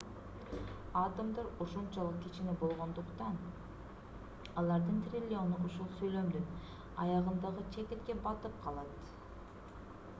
атомдор ушунчалык кичине болгондуктан алардын триллиону ушул сүйлөмдүн аягындагы чекитке батып калат